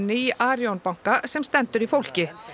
í Arion banka sem stendur í fólki